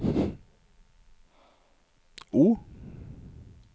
O